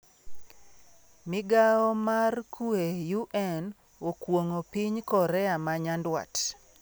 Migao mar kwe UN okuon'go piny korea ma nyanduat